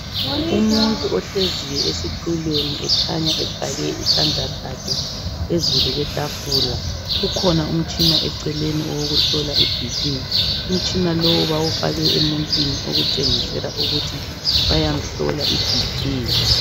Umuntu ohleziyo esitulweni ekhanya efake isandla sakhe phezu kwetafula. Kukhona umtshina eceleni owokuhlola iBP. Umtshina lowu bawufake emuntwini okutshengisela ukuthi bayamhlola iBP.